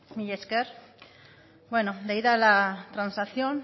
mila esker bueno leída la transacción